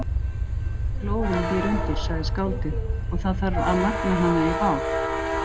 Glóðin býr undir, sagði skáldið, og það þarf að magna hana í bál.